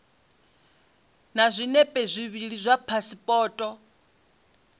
na zwinepe zwivhili zwa phasipoto